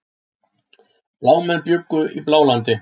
Blámenn bjuggu í Blálandi.